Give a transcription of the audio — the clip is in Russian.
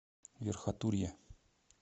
верхотурье